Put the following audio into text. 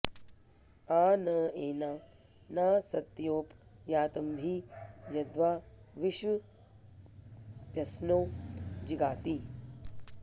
आ न॑ ए॒ना ना॑स॒त्योप॑ यातम॒भि यद्वां॑ वि॒श्वप्स्न्यो॒ जिगा॑ति